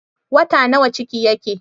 Wata nawa ciki yake?